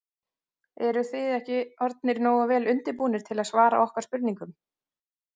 Eruð þið ekki orðnir nógu vel undirbúnir til að svara okkar spurningum?